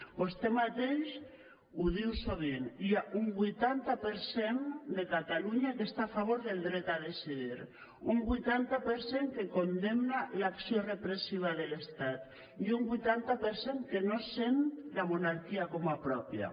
vostè mateix ho diu sovint hi ha un vuitanta per cent de catalunya que està a favor del dret a decidir un vuitanta per cent que condemna l’acció repressiva de l’estat i un vuitanta per cent que no sent la monarquia com a pròpia